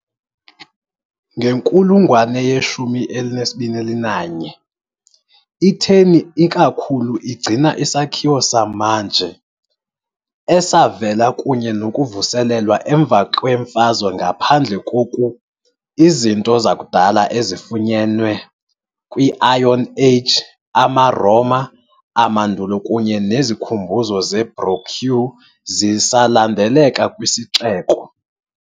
Ngenkulungwane ye-21, i-Terni ikakhulu igcina isakhiwo samanje, esavela kunye nokuvuselelwa emva kwemfazwe. Ngaphandle koku, izinto zakudala ezifunyenwe kwi-Iron Age, amaRoma, amandulo kunye nezikhumbuzo zeBaroque zisalandeleka kwisixeko.